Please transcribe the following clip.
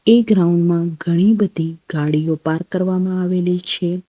એ ground માં ઘણી બધી ગાડીઓ પાર્ક કરવામાં આવેલી છે.